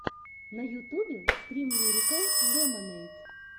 на ютубе стрим лирикал лемонэйд